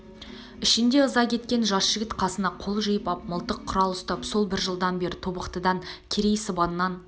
ішінде ыза кеткен жас жігіт қасына қол жиып ап мылтық-құрал ұстап сол бір жылдан бері тобықтыдан керей сыбаннан